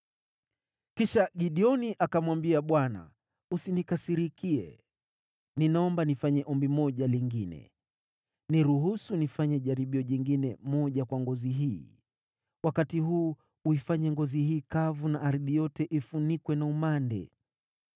Kisha Gideoni akamwambia Bwana , “Usinikasirikie. Ninaomba nifanye ombi moja lingine. Niruhusu nifanye jaribio jingine moja kwa ngozi hii. Wakati huu uifanye ngozi hii kavu na ardhi yote ifunikwe na umande.”